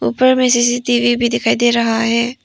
ऊपर में सी_सी_टी_वी भी दिखाई दे रहा है।